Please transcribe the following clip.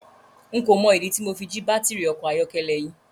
N kò mọ ìdí tí Mo fi jí baátìrì ọkọ̀ ayọ́kẹ́lẹ́ yín.